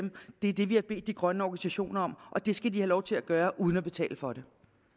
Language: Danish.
er det vi har bedt de grønne organisationer om og det skal de have lov til at gøre uden at betale for det